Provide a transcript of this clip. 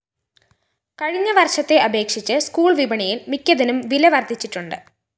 കഴിഞ്ഞ വര്‍ഷത്തെ അപേക്ഷിച്ച് സ്കൂൾ വിപണിയില്‍ മിക്കതിനും വില വര്‍ധിച്ചിട്ടുണ്ട്